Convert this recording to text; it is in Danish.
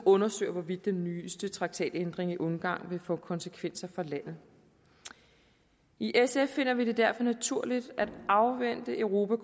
undersøges hvorvidt den nyeste traktatændring i ungarn vil få konsekvenser for landet i sf finder vi det derfor naturligt at afvente europa